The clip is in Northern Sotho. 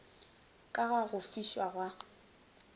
ka ga go fišwa ga